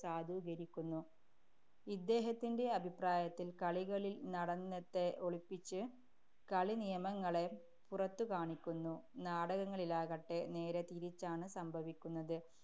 സാധൂകരിക്കുന്നു. ഇദ്ദേഹത്തിന്‍റെ അഭിപ്രായത്തില്‍ കളികളില്‍ നടനത്തെ ഒളിപ്പിച്ച് കളിനിയമങ്ങളെ പുറത്തു കാണിക്കുന്നു. നാടകങ്ങളിലാകട്ടെ, നേരെ തിരിച്ചാണ് സംഭവിക്കുന്നത്.